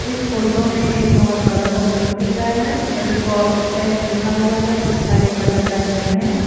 इस फोटो में एक बहुत बड़ा सा बोर्ड दिख रहा है जो को आप्टेक्स लिखा हुआ है उस पर एक बटरफ्लाई बनी है।